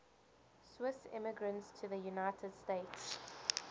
swiss immigrants to the united states